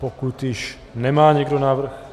Pokud již nemá nikdo návrh...